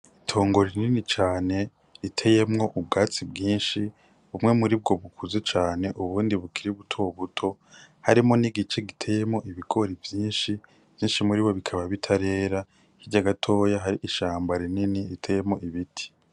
Itongo rinini cane riteyemwo ubwatsi bwinshi bumwe muri bwo bukuze cane ubundi bukiri buto buto harimwo n' igice giteyemwo ibigori vyinshi bikaba bitarera hirya gatoya hari ishamba rinini riteyemwo ibiti.